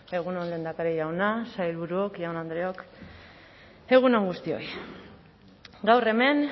egun on lehendakari jauna sailburu jaun andreak egun on guztioi gaur hemen